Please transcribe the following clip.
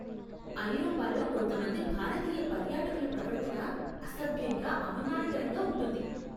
ఐరోపాలో కొంతమంది భారతీయ పర్యాటకుల ప్రవర్తన అసభ్యంగా, అవమానకరంగా ఉంటుంది.